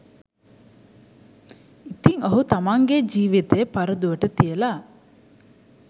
ඉතින් ඔහු තමන්ගේ ජීවිතය පරදුවට තියලා